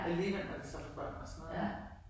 Alligevel når de så får børn og sådan noget ik